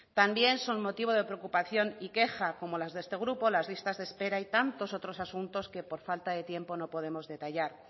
también son motivo de preocupación y queja como la de este grupo las listas de espera y tantos otros asuntos que por falta de tiempo no podemos detallar